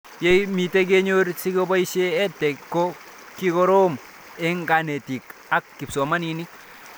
Ye mito, kenyor sikepoishe EdTech ko kikorom eng' kanetik ak kipsomanik